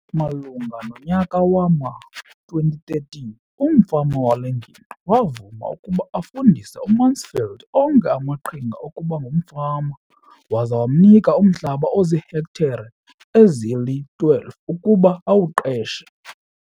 Malunga nonyaka wama-2013, umfama wale ngingqi wavuma ukuba afundise uMansfield onke amaqhinga okuba ngumfama waza wamnika umhlaba ozihektare ezili-12 ukuba awuqeshe.